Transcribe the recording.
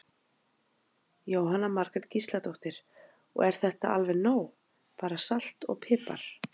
Jóhanna Margrét Gísladóttir: Og er þetta alveg nóg bara salt og pipar?